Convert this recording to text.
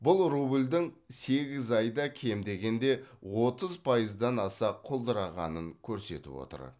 бұл рубльдің сегіз айда кем дегенде отыз пайыздан аса құлдырағанын көрсетіп отыр